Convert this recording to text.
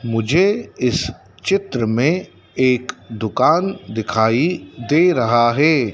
मुझे इस चित्र में एक दुकान दिखाई दे रहा है।